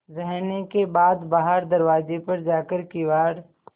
रहने के बाद बाहर दरवाजे पर जाकर किवाड़